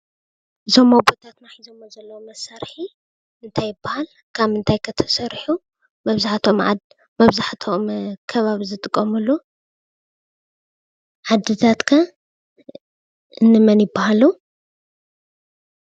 እዞም ኣቦታትና ሒዘምዎ ዘለው መሳርሒ እንታይ ይባሃል? ካብ ምንታይ ከ ተሰሪሑ? መብዛሕትኦም ከባቢ ዝጥቀምሉ ዓዲታት ከ እንመን ይባሃሉ?